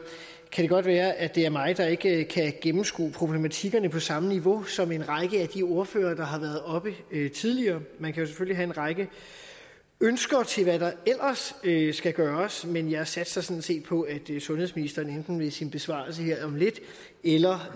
kan det godt være at det er mig der ikke kan gennemskue problematikkerne på samme niveau som en række af de ordførere der har været oppe tidligere man kan jo selvfølgelig have en række ønsker til hvad der ellers skal gøres men jeg satser sådan set på at sundhedsministeren enten i sin besvarelse her om lidt eller